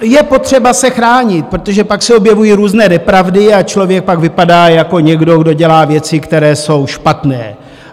Je potřeba se chránit, protože pak se objevují různé nepravdy a člověk pak vypadá jako někdo, kdo dělá věci, které jsou špatné.